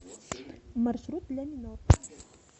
маршрут ляминор